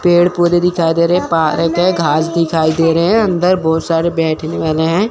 पेड़ पौधे दिखाई दे रहे हैं पार्क है घास दिखाई दे रहे है अंदर बहुत सारे बैठने वाले हैं।